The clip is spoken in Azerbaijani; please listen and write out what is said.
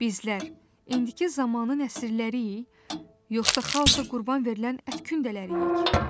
Bizlər indiki zamanın nəsilləriyik, yoxsa xaosa qurban verilən ət kündələriyik?